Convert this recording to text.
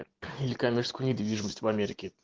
или коммерческую недвижимость в америке